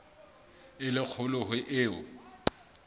e le kgolo ho eo